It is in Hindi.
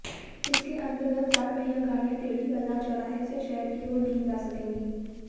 इसके अंतर्गत चार पहिया गाड़ियां टेढ़ी बाजार चौराहे से शहर की ओर नहीं जा सकेंगे